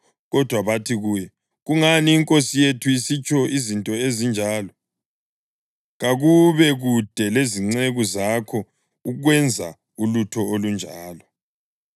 Kodwa bathi kuye, “Kungani inkosi yethu isitsho izinto ezinjalo? Kakube kude lezinceku zakho ukwenza ulutho olunjalo!